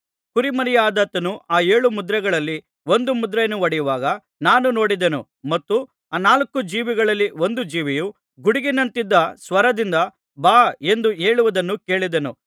ಕುರಿಮರಿಯಾದಾತನು ಆ ಏಳು ಮುದ್ರೆಗಳಲ್ಲಿ ಒಂದು ಮುದ್ರೆಯನ್ನು ಒಡೆಯುವಾಗ ನಾನು ನೋಡಿದೆನು ಮತ್ತು ಆ ನಾಲ್ಕು ಜೀವಿಗಳಲ್ಲಿ ಒಂದು ಜೀವಿಯು ಗುಡುಗಿನಂತಿದ್ದ ಸ್ವರದಿಂದ ಬಾ ಎಂದು ಹೇಳುವುದನ್ನು ಕೇಳಿದೆನು